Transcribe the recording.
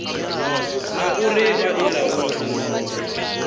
na uri vha i laule